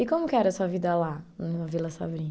E como que era a sua vida lá, na Vila Sabrina?